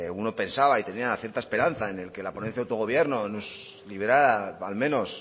uno pensaba y tenía cierta esperanza en el que la ponencia autogobierno nos liberara al menos